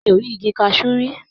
Mi ò ì rí igi kaṣú rí.